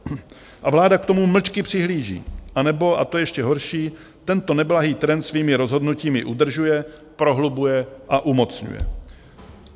A vláda k tomu mlčky přihlíží, anebo, a to je ještě horší, tento neblahý trend svými rozhodnutími udržuje, prohlubuje a umocňuje.